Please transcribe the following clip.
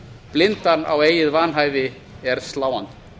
blindan á eigið vanhæfi er sláandi